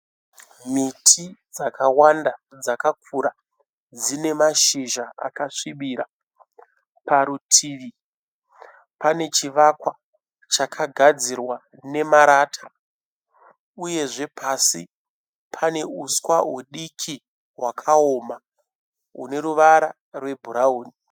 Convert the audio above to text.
Miti dzakawanda dzakakura dzine mashizha akasvibira. Parutivi pane chivakwa chakagadzirwa nemarata uyezve pasi pane huswa hudiki hwakaoma hune ruvara rwebhurawuni.